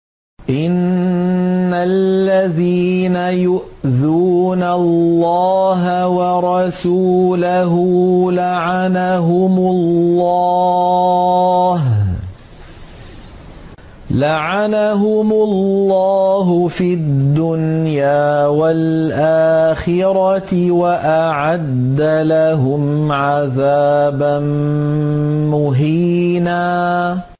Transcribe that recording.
إِنَّ الَّذِينَ يُؤْذُونَ اللَّهَ وَرَسُولَهُ لَعَنَهُمُ اللَّهُ فِي الدُّنْيَا وَالْآخِرَةِ وَأَعَدَّ لَهُمْ عَذَابًا مُّهِينًا